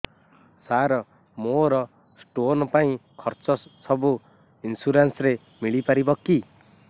ସାର ମୋର ସ୍ଟୋନ ପାଇଁ ଖର୍ଚ୍ଚ ସବୁ ଇନ୍ସୁରେନ୍ସ ରେ ମିଳି ପାରିବ କି